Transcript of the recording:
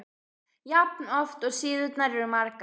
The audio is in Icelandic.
jafn oft og síðurnar eru margar.